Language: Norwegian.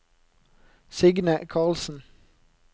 Signe Karlsen